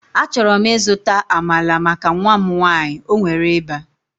Achọrọ m ịzụta Amalar maka nwa m nwanyị, o nwere ịba